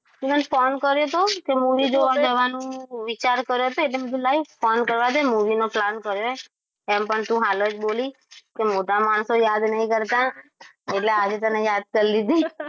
તેમજ phone કર્યો તો તે movie જોવા જવાનું વિચાર કર્યો તો એટલે કીધું લાય ફોન કરવા દે movie નો movie કર્યો હો એમ પણ તું હાલ જ બોલી કે મોટા માણસો યાદ નહીં કરતા એટલે આજે તને યાદ કરી લીધી